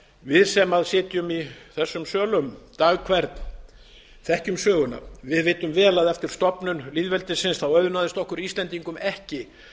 við sem sitjum í þessum sölum dag hvern þekkjum söguna við vitum vel að eftir stofnun lýðveldisins auðnaðist okkur íslendingum ekki